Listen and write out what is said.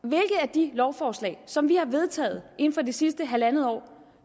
de lovforslag som vi har vedtaget inden for det sidste halvandet år